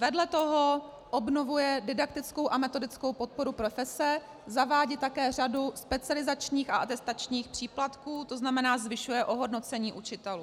Vedle toho obnovuje didaktickou a metodickou podporu profese, zavádí také řadu specializačních a atestačních příplatků, to znamená, zvyšuje ohodnocení učitelů.